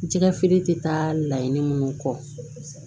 Jɛgɛfeere tɛ taa laɲini minnu kɔ